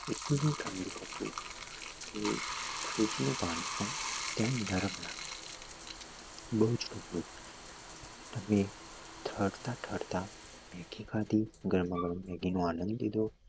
એટું ઠંડું હતું કે freeze નું પાણી પણ એમ ગરમ લાગે વ બઉ જ ઠંડું હતું અમે ઠરતા ઠરતા મેગી ખાધી ગરમા ગરમ મેગી નો આનંદ લીધો